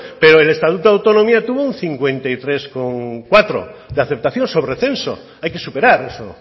pero el estatuto de autonomía tuvo un cincuenta y tres coma cuatro de aceptación sobre censo hay que superar eso